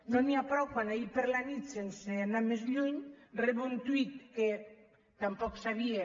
no n’hi ha prou quan ahir a la nit sense anar més lluny rebo un tuit que tampoc sabia